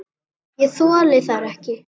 Ég þoli þær ekki.